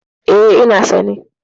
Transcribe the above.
E, ina sane.